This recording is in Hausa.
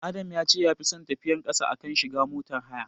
Adam ya ce yafi son tafiyar ƙasa a kan shiga motar haya.